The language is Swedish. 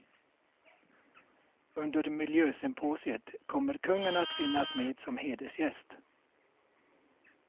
Under miljösymposiet kommer kungen att finnas med som hedersgäst.